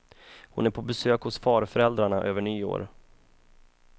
Hon är på besök hos farföräldrarna över nyår.